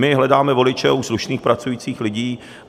My hledáme voliče u slušných, pracujících lidí.